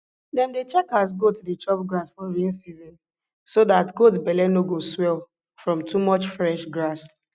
dem dey check as goat dey chop grass for rain season so dat goat belle no go swell from too much fresh grass